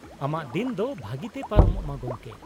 -ᱟᱢᱟᱜ ᱫᱤᱱ ᱫᱚ ᱵᱷᱟᱹᱜᱤ ᱛᱮ ᱯᱟᱨᱚᱢᱚᱜ ᱢᱟ ᱜᱚᱢᱠᱮ !